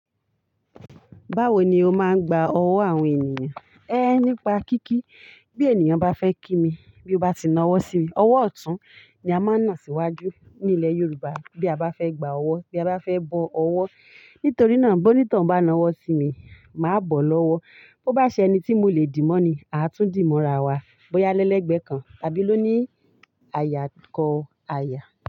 Báwo ni o máa ń gba ọ̀wọ́ àwọn ènìyàn? Nípa kíkí, bí ènìyàn bá fẹ́ kí mi, bí ó bá ti na ọ́wọ́ sí mi, ọ̀wọ́ ọ̀tún ni a máa ń nà síwájú ní ilẹ̀ Yorùbá bí a bá fẹ́ gba ọ̀wọ́, bí a bá fẹ́ bọ ọ̀wọ́. Nítorí náà bó ní toun bá na ọ́wọ́ sí mi, màá bọ̀ lọ́wọ́. Bo bá ṣe ẹni tí mo lè dì mọ́ ni, a tún dì mọ́ ra wa, bóyá lẹ́lẹ̀ẹ́gbẹ́ kan tàbí ló ní àyà kọ àyà.